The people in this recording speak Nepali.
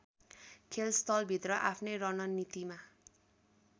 खेलस्थलभित्र आफ्नै रणनीतिमा